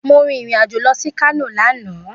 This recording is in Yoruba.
Mo rìn irìn-àjò lọ sí Kano lánàá